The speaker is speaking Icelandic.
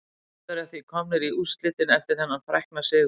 Þjóðverjar því komnir í úrslitin eftir þennan frækna sigur.